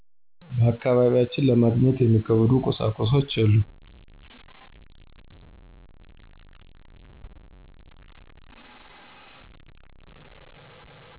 በአካባቢያችን ለማግኘት የሚከብዱ ቁሳቁሶች የሉም።